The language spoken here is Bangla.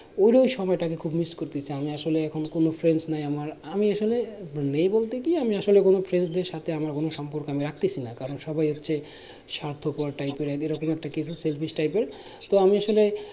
ওর~ ওই সময়টাকে খুব miss করতেছি আমি আসলে এখন কোনো friend নাই আমার আমি আসলে নেই বলতে কি আমি আসলে কোনো friend দের সাথে আমার কোনো সম্পর্ক আমি রাখতেছিনা কারণ সবাই হচ্ছে স্বার্থপর type এর এরকম একটা কিছু selfish type এর তো আমি আসলে